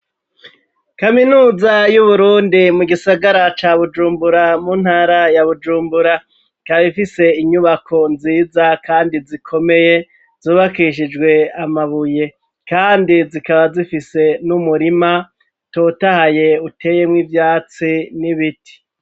Kaminuza y'uburundi mu gisagara ca bujumbura mu ntara ya bujumbura, ikaba ifise inyubako nziza kandi zikomeye zubakishijwe amabuye kandi zikaba zifise n'umurima utotahaye uteyemw'ivyatsi n'ibiti.